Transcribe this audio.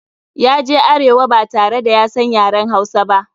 Ya je arewa ba tare da ya san yaren Hausa ba.